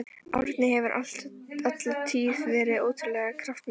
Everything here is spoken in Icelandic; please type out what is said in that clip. Árni hefur alla tíð verið ótrúlega kraftmikill.